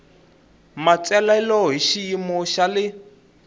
matsalelo hi xiyimo xa le